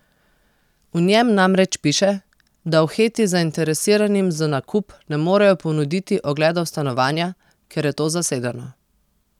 V njem namreč piše, da v Heti zainteresiranim za nakup ne morejo ponuditi ogledov stanovanja, ker je to zasedeno.